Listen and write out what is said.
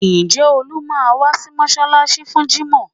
Ǹjẹ́ Olú máa wá sí mọ́ṣáláṣí fún jímọ̀?